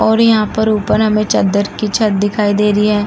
और हमें यहां पर ऊपर चद्दर की छत दिखाई दे रही है।